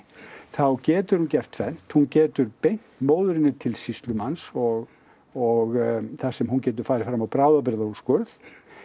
þá getur hún gert tvennt hún getur beint móðurinni til sýslumanns og og þar sem hún getur farið fram á bráðabirgðaúrskurð